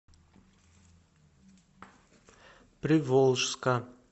приволжска